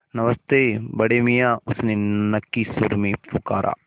नमस्ते बड़े मियाँ उसने नक्की सुर में पुकारा